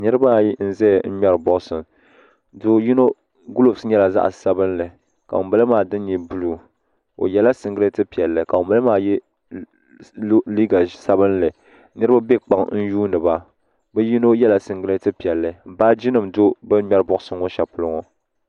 Niriba ayi n zaya n ŋmɛri boaɣasa do'yino gulovs nyɛla zaɣa sabinli ka ŋunbala maa dini nyɛ buluu o yela singileti piɛlli ka ŋun bala maa ye liiga sabinli niriba be kpaŋ n yuuni ba bɛ yino yela singileti piɛlli baaji nima be bini ŋmɛti Boɣasa ŋɔ sheli ŋɔ.